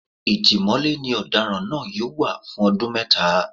Ìtìmọ́lé ni ọ̀daràn náà yóò wà fún ọdún mẹ́ta